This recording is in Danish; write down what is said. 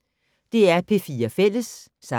DR P4 Fælles